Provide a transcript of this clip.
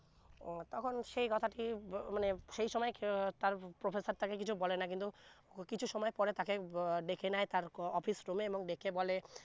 ও তখন সে কথাটি মানে সে সময় তার professor তাকে কিছু বলে না কিন্তু কিছু সময় পরে তাকে উহ ডেকে নেয় তার office room এ ডেকে বলে